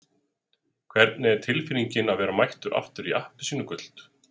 Hvernig er tilfinningin að vera mættur aftur í appelsínugult?